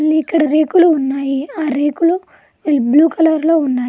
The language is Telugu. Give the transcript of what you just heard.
మళ్ళీ ఇక్కడ రేకులు ఉన్నాయి. ఆ రేకులు బ్లూ కలర్లో ఉన్నాయి.